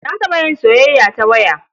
Na taɓa yin soyayya ta waya.